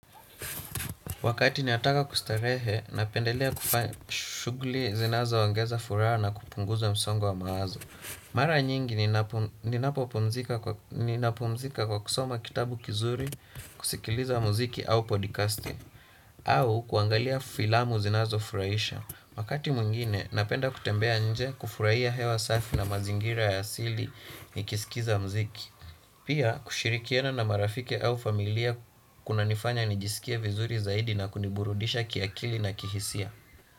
Wakati nataka kustarehe, napendelea kufanya shughuli zinazoongeza furaha na kupunguza msongo wa mawazo. Mara nyingi ninapumzika kwa kusoma kitabu kizuri, kusikiliza muziki au podcasti, au kuangalia filamu zinazofurahisha. Wakati mwingine, napenda kutembea nje kufurahia hewa safi na mazingira ya asili nikiskiza muziki. Pia kushirikiana na marafiki au familia kunanifanya nijisikie vizuri zaidi na kuniburudisha kiakili na kihisia.